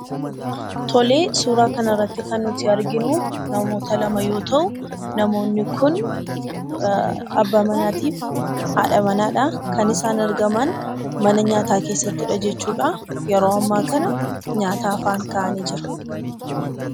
Tolee, suuraa kana irratti kan nutu arginuu, namoota lama yoo ta'u, namoonni kun 'Abba Manaattifi Haadha Manaa'dhaa. Kan isaan argamaan 'Mana Nyataa' keessattidha jechuudha. Yeroo amma kana nyaata afaan ka'anii jira.